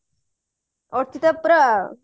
ଅର୍ଚିତା ପରା ଆଉ